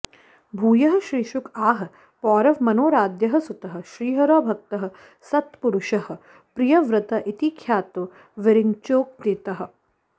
भूयः श्रीशुक आह पौरव मनोराद्यः सुतः श्रीहरौ भक्तः सत्पुरुषः प्रियव्रत इति ख्यातो विरिञ्चोक्तितः